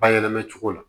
Bayɛlɛma cogo la